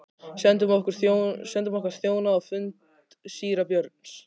Sendum okkar þjóna á fund síra Björns.